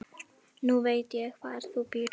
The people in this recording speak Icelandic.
Nú veit ég hvar þú býrð.